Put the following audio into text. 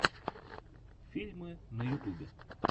фильмы на ютюбе